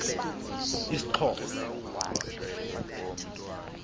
isxhosa